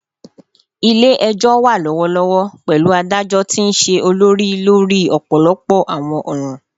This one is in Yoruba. Ile-ẹjọ wa lọwọlọwọ, pẹlu adajọ ti nṣe olori lori ọpọlọpọ awọn ọran